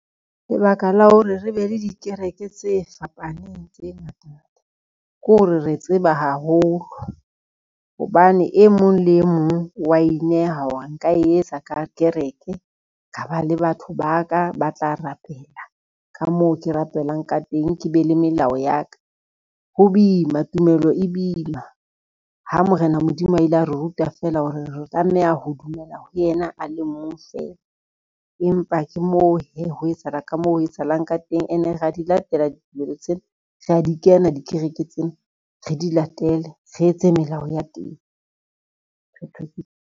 Lebaka la hore re be le dikereke tse fapaneng tse ngata ngata, ke hore re tseba haholo hobane e mong le e mong wa inehe hore a nka e etsa kereke, ka ba le batho ba ka ba tla rapela ka moo ke rapelang ka teng, ke be le melao ya ka. Ho boima tumelo e boima, ha Morena Modimo a ile a re ruta fela hore re tlameha ho dumela ho yena a le mong fela, empa ke moo hee, ho etsahala ka moo ho etsahalang ka teng. Ene re a di latela ditumelo tsena rea di kena dikereke tsena, re di latele re etse melao ya teng, phetho ke tu.